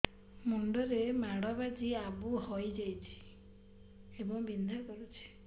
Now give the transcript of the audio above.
ମୁଣ୍ଡ ରେ ମାଡ ବାଜି ଆବୁ ହଇଯାଇଛି ଏବଂ ବିନ୍ଧା କରୁଛି